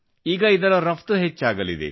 ಈಗ ಇದರ ರಫ್ತು ಹೆಚ್ಚಾಗಲಿದೆ